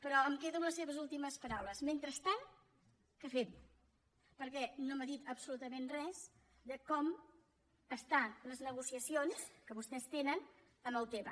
però em quedo amb les seves últimes paraules mentrestant què fem perquè no m’ha dit absolutament res de com estan les negocia cions que vostès tenen amb autema